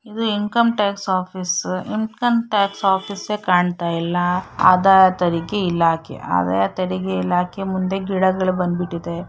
ಇದು income tax office income tax office ಯೇ ಕಾಣ್ತಾ ಇಲ್ಲ ಆದಾಯ ತೆರಿಗೆ ಇಲಾಖೆ ಆದಾಯ ತೆರಿಗೆ ಇಲಾಖೆ ಮುಂದೆ ಗಿಡಗಳು ಬಂದಬಿಟ್ಟಿದೆ.